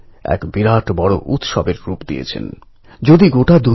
কিছুদিন আগে আমাদের দেশের জনপ্রিয় কবি নীরজ প্রয়াত হয়েছেন